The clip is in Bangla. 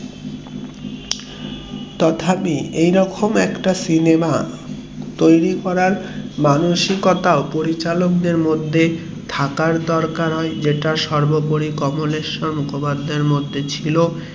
তথাপি এই রকম একটা সিনেমা তৈরী করার মানসিকতা ও পরিচালক দেড় মধ্যে থাকার দরকার হয়ে যা সর্বোপরি কমলেশ্বর মুখোপাধ্যায় এর মধ্যে ছিল